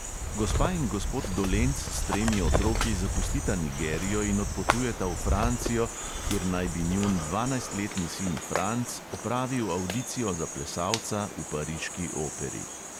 Gospa in gospod dolenc s tremi otroki zapustita nigerijo in odpotujeta v francijo, kjer naj bi njun dvanajstletni sin franc opravil avdicijo za plesalca v pariški operi.